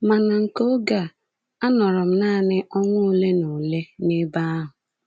Ma na nke oge a, anọrọ m nanị ọnwa ole na ole n’ebe ahụ.